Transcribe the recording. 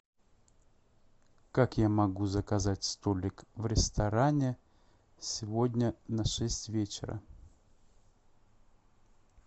как я могу заказать столик в ресторане сегодня на шесть вечера